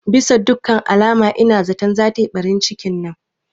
Bisa dukkan alama ina zaton zata yi ɓarin cikin nan